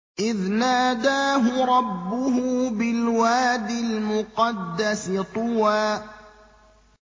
إِذْ نَادَاهُ رَبُّهُ بِالْوَادِ الْمُقَدَّسِ طُوًى